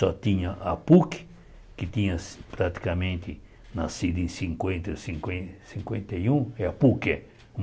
Só tinha a PUC, que tinha praticamente nascido em cinquenta, cinquen cinquenta e um, que é a PUC é